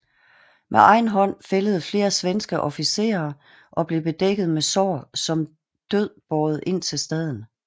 Med egen hånd fældede flere svenske officerer og blev bedækket med sår som død båret ind til staden